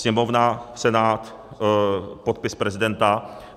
Sněmovna, Senát, podpis prezidenta.